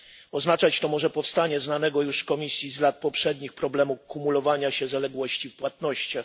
Oznaczać to może powstanie znanego już Komisji z lat poprzednich problemu kumulowania się zaległości w płatnościach.